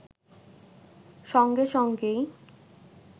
সঙ্গে সঙ্গেই